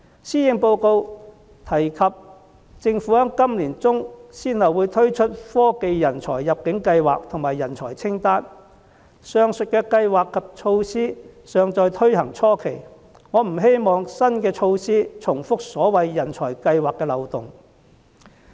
施政報告提及政府在今年年中先後會推出科技人才入境計劃及人才清單，上述計劃及措施尚在推行初期，我不希望新措施重複所謂人才計劃的漏洞。